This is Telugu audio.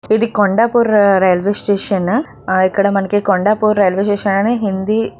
ఇది కొండాపూర్ రైల్వే స్టేషన్ . ఇక్కడ మనకి కొండాపూర్ రైల్వే స్టేషన్ అన్ని హిందీ --